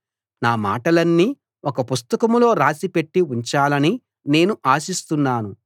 నా మాటలన్నీ ఒక పుస్తకంలో రాసి పెట్టి ఉంచాలని నేను ఆశిస్తున్నాను